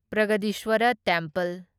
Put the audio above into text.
Brihadeeswarar temple